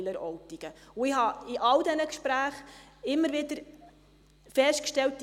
Ich habe in all diesen Gesprächen immer wieder festgestellt: